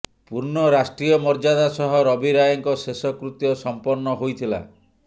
ପୂର୍ଣ୍ଣ ରାଷ୍ଟ୍ରୀୟ ମର୍ଯ୍ୟଦା ସହ ରବି ରାୟଙ୍କ ଶେଷକୃତ୍ୟ ସଂପନ୍ନ ହୋଇଥିଲା